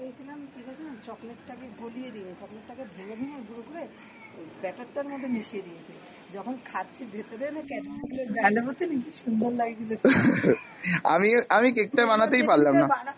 আমিও, আমি cake টা বানাতেই পারলাম না।